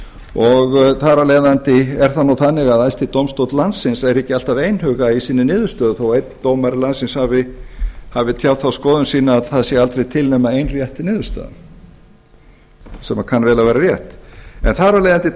og þar af leiðandi er það nú þannig að æðsti dómstóll landsins er ekki alltaf einhuga í sinni niðurstöðu þó að einn dómari landsins hafi tjáð þá skoðun sína að það sé aldrei til nema ein rétt niðurstaða sem kann vel að vera rétt þar af leiðandi